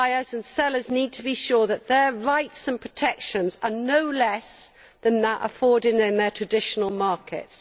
Buyers and sellers need to be sure that their rights and protections are no less than those afforded them in their traditional markets.